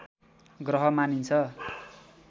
ग्रह मानिन्छ